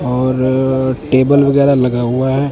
और टेबल वगेरा लगा हुआ है।